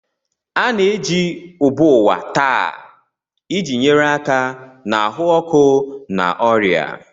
A na-eji ubuwa taa iji nyere aka na ahụ ọkụ na ọrịa.